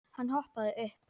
Hann hoppaði upp.